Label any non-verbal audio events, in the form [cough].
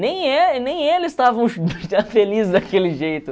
Nem [unintelligible] nem eles estavam [unintelligible] felizes daquele jeito.